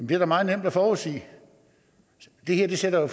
det er da meget nemt at forudsige det her sætter jo